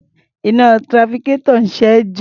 Iná trafficator ń ṣẹ́jú.